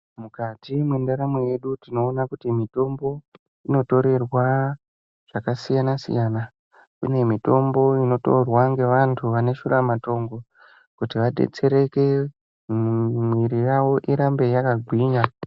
Mukati mwendaramo yedu tinoona kuti mitombo inotorerwa zvakasiyana-siyana. Kune mitombo inotorwa ngevantu vane shuramatongo kuti vadetsereke, mwiiri yavo irambe yakagwinya.